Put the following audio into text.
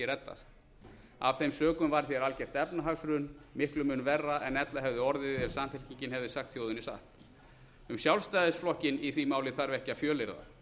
reddast af þeim sökum varð hér algjört efnahagshrun miklum mun verra en ella hefði orðið ef samfylkingin hefði sagt þjóðinni satt um sjálfstæðisflokkinn í því máli þarf ekki að fjölyrða